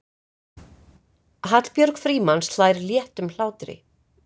Hallbjörg Frímanns hlær léttum hlátri.